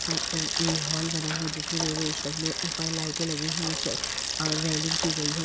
सा ये हॉल बना हुआ है। जिसमें ऊपर लाईटे लगी हुई हैं और रेलिंग की गयी है।